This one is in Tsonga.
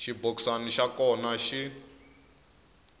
xibokisana xa kona hi x